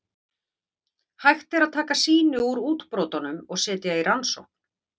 Hægt er að taka sýni úr útbrotunum og setja í rannsókn.